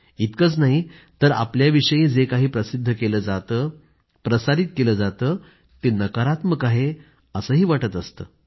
इतकंच नाही तर आपल्याविषयी जे काही प्रसिद्ध केलं जातं प्रसारित केलं जातं ते नकारात्मक आहे असंही वाटत असतं